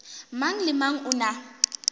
mang le mang o na